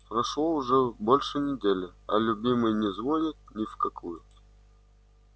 прошло уже больше недели а любимый не звонит ни в какую